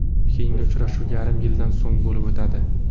Keyingi uchrashuv yarim yildan so‘ng bo‘lib o‘tadi.